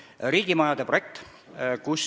Esiteks, riigimajade projekt.